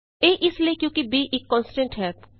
ਇਹ ਇਸ ਲਈ ਕਿਉਂਕਿ b ਇਕ ਕੋਨਸਟੈਂਟ ਹੈ